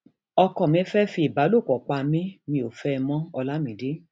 ọkọ mi fẹẹ fi ìbálòpọ pa mí mi ò fẹ ẹ mọolamide